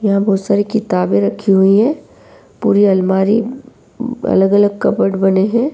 यहां बहुत सारी किताबें रखी हुई हैं। पूरी अलमारी अलग-अलग कबर्ड बने हैं।